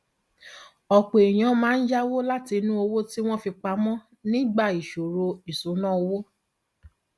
ọpọ èèyàn máa ń yáwó látinú owó tí wọn fi pa mọ nígbà ìṣòro ìṣúnná owó